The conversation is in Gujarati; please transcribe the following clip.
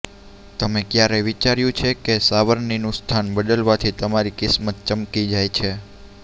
તમે ક્યારેય વિચાર્યું છે કે સાવરણીનું સ્થાન બદલવાથી તમારી કિસ્મત ચમકી જાય